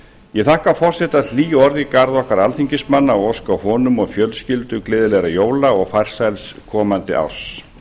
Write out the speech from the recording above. ég þakka forseta hlý orð í garð okkar alþingismanna og óska honum og fjölskyldu gleðilegra jóla og farsæls komandi árs